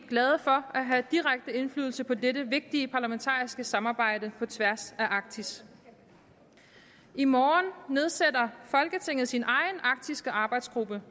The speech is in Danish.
glade for at have direkte indflydelse på dette vigtige parlamentariske samarbejde på tværs af arktis i morgen nedsætter folketinget sin egen arktiske arbejdsgruppe